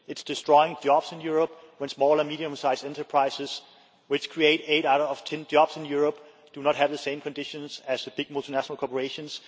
It is destroying jobs in Europe when small and medium sized enterprises, which create eight out of 10 jobs in Europe, do not have the same conditions as the big multinational corporations.